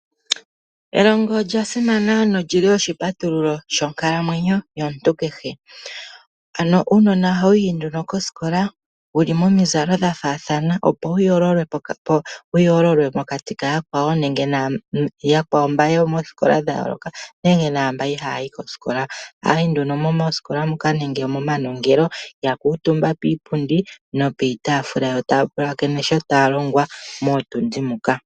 Elongo olya simana nolyili oshipatululo shonkalamwenyo yomuntu kehe. Ano uunona ohawuyi nduno koskola wuli momizalo dha faathana opo ya yoololwe mokati ka yakwawo naa mboka yokoskola dha yooloka nenge naa mbono ihaaya yi koskola. Ohaa yi nduno momanongelo yakuutumba kiipundi niitaafula yo taa pulakene sho taa longwa mootundi moka.